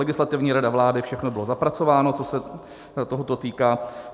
Legislativní rada vlády, všechno bylo zapracováno, co se tohoto týká.